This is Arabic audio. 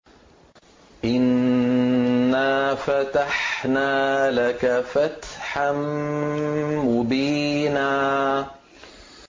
إِنَّا فَتَحْنَا لَكَ فَتْحًا مُّبِينًا